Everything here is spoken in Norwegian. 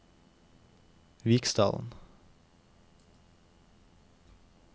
Viksdalen